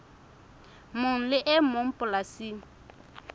mong le e mong polasing